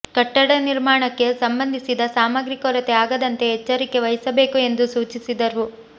ಕಟ್ಟಡ ನಿರ್ಮಾಣಕ್ಕೆ ಸಂಬಂಧಿಸಿದ ಸಾಮಗ್ರಿ ಕೊರತೆ ಆಗದಂತೆ ಎಚ್ಚರಿಕೆ ವಹಿಸಬೇಕು ಎಂದು ಸೂಚಿಸಿದರು